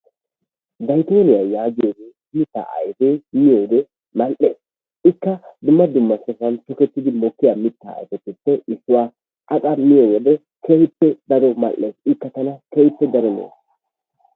Zayttooniya yaagiyo mitaa ayfee miyode mal'ees, ikka dumma dumma sohuwan tokketidi mokkiya mitaa ayfetuppe issuwa. A qa miyo wode keehippe daro mal'ees, ikka tana keehippe daro lo'ees.